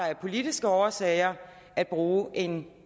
af politiske årsager agter at bruge en